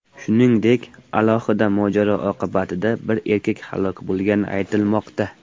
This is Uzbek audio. Shuningdek, alohida mojaro oqibatida bir erkak halok bo‘lgani aytilmoqda.